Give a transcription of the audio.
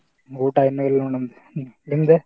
ಊಟಾ ಇನ್ನು ಇಲ್ಲ ನೋಡ್ ನಮ್ದ ನಿಂದಾ?